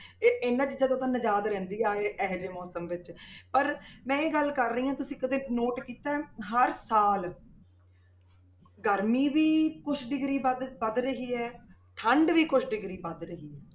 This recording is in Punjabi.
ਤੇ ਇਹਨਾਂ ਚੀਜ਼ਾਂ ਤੋਂ ਨਿਜ਼ਾਦ ਰਹਿੰਦੀ ਆ ਇਹ ਇਹ ਜਿਹੇ ਮੌਸਮ ਵਿੱਚ ਪਰ ਮੈਂ ਇਹ ਗੱਲ ਕਰ ਰਹੀ ਹਾਂ ਤੁਸੀਂ ਕਦੇ note ਕੀਤਾ ਹੈ, ਹਰ ਸਾਲ ਗਰਮੀ ਵੀ ਕੁਛ degree ਵੱਧ ਵੱਧ ਰਹੀ ਹੈ ਠੰਢ ਵੀ ਕੁਛ degree ਵੱਧ ਰਹੀ ਹੈ।